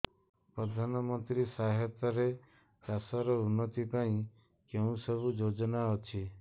ପ୍ରଧାନମନ୍ତ୍ରୀ ସହାୟତା ରେ ଚାଷ ର ଉନ୍ନତି ପାଇଁ କେଉଁ ସବୁ ଯୋଜନା ଅଛି